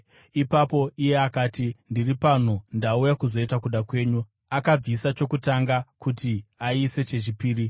Ipapo iye akati, “Ndiri pano, ndauya kuzoita kuda kwenyu.” Akabvisa chokutanga kuti aise chechipiri.